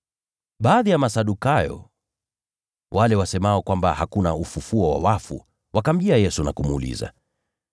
Baadhi ya Masadukayo, wale wasemao kwamba hakuna ufufuo wa wafu, wakamjia Yesu na kumuuliza,